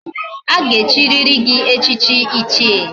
Aga echiriri gi echichi ichie